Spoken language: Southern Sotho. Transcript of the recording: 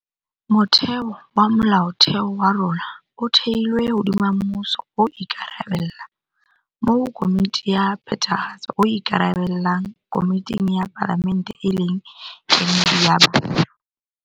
Motheo wa Molaotheo wa rona o thehilwe hodima mmuso o ikarabella, moo Komiti ya Phethahatso e ikarabellang komiting ya Palamente e leng kemedi ya batho.